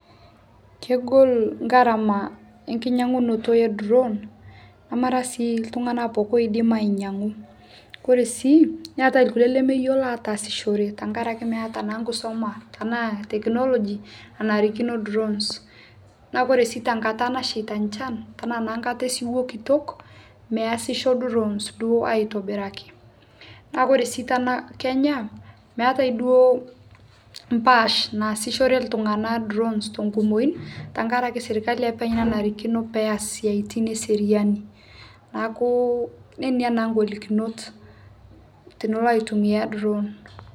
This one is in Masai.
kogol ngharama e nkinyongunooto e drown namara sii ltungana pooki oidim ainyengu kore sii keatai lkulie lemeyeloo ataasishore tankarake meata naa nkusoma tanaa technology e narikino drowns naa kore sii tankata nashheita nchan tanaa naa nkata e siwoo kitok measisho drown duo aitobiraki naa kore sii tana kenya meatai duo mpaash naasishore ltungana drowns tonkumoi tankarake sirkali apeny enarikino peasie siatin e seriani naaku nenenia naa ngolikinot tinilo aitumia drown